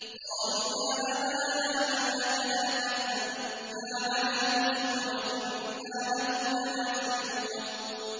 قَالُوا يَا أَبَانَا مَا لَكَ لَا تَأْمَنَّا عَلَىٰ يُوسُفَ وَإِنَّا لَهُ لَنَاصِحُونَ